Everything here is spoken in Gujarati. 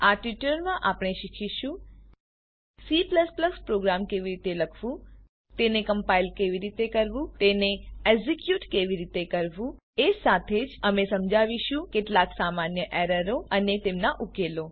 આ ટ્યુટોરીયલમાં આપણે શીખીશું C પ્રોગ્રામ કેવી રીતે લખવું તેને કમ્પાઈલ કેવી રીતે કરવું તેને એક્ઝીક્યુટ કેવી રીતે કરવું એ સાથે જ અમે સમજાવીશું કેટલાક સામાન્ય એરરો અને તેમનાં ઉકેલો